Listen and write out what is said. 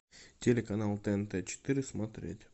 телеканал тнт четыре смотреть